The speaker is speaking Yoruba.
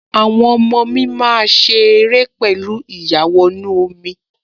Àwọn ọmọ mi máa ṣe ère pẹ̀lú ìyàwọnú-omi